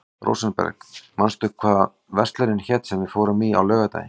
Rósenberg, manstu hvað verslunin hét sem við fórum í á laugardaginn?